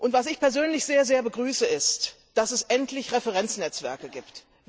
Was ich persönlich sehr begrüße ist, dass es endlich Referenznetzwerke gibt.